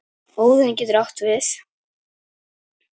Óðinn getur átt við